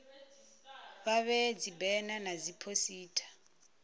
vha vhee dzibena na dziphosita